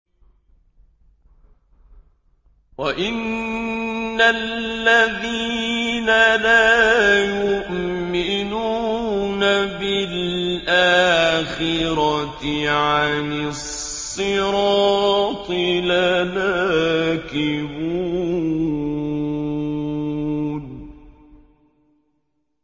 وَإِنَّ الَّذِينَ لَا يُؤْمِنُونَ بِالْآخِرَةِ عَنِ الصِّرَاطِ لَنَاكِبُونَ